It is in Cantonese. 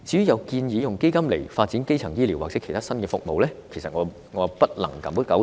有人建議用基金來發展基層醫療或其他新服務，但我不敢苟同。